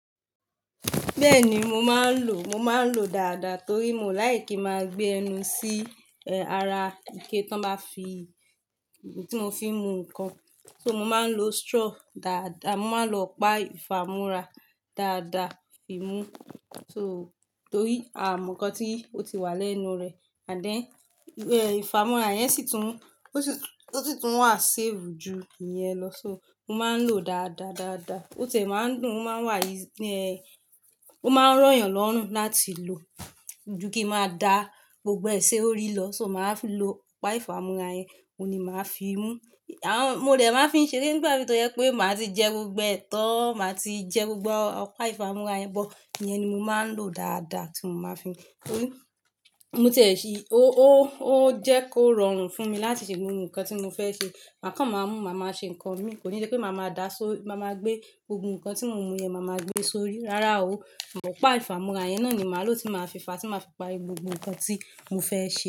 Bẹ́ẹ̀ni, mo máa ń lò, mo máa ń lò dáadáa torí mo láì kí máa gbé ẹnu sí, eh, ara ike tó máa fi, tí mo fi n mú nǹkan. So mo máa ń lo straw dáadáa, mo máa lọ pa ifamura dáadáa fi mú. So torí a mọ nǹkan tí ó ti wà lẹ́nu rẹ̀, ànd then ifamonra yẹn sì tún, ó sì tún wà save ju ìyẹn lọ. So mo máa ń lò ó dáadáadáadáa. Ó tiẹ̀ máa ń dùn, ó máa wà easy ẹ, ó máa ń rọ yan lọ́rùn láti lò. Ju kí máa dá gbogbo ẹ ṣorí lọ, so màá fi lo ọ̀pá ifamonra yẹn, òun ni màá fi mú. Àán, mo dẹ̀ máa ń fi ń ṣe eré nígbà mí tó jẹ́ wí pé màá ti jẹ gbogbo ẹ̀ tan, màá ti jẹ gbogbo ọ̀pá ifamanra yẹn bọ̀. Ìyẹn ni mo máa ń lò dáadáa tí mo máa fi mú. Torí mo tiẹ̀ sí i, ó, ó, ó jẹ́ kó rọrùn fún mi láti ṣe gbogbo nǹkan tí mo fẹ́ ṣe. Ma kan màá mú, màá máa ṣe nǹkan mi, kò ní ṣe pé màá máa dá, so màá máa gbé gbogbo nǹkan tí mo mú yẹn, màá máa gbé e sórí. Rárá o, ọ̀pá ifamonra yẹn náà ni màá lò tí màá fi fàá, tí màá fi parí gbogbo nǹkan tí mo fẹ́ ṣe.